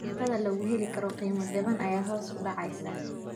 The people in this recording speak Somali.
Cuntada lagu heli karo qiimo jaban ayaa hoos u dhacaysa.